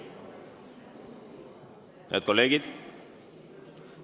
Head kolleegid!